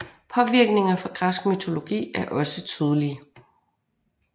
Påvirkninger fra Græsk mytologi er også tydelige